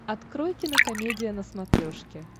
открой кинокомедия на смотрешке